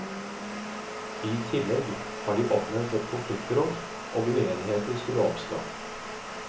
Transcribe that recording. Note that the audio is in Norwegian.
I tillegg har de oppnevnt et konfliktråd, om uenigheter skulle oppstå.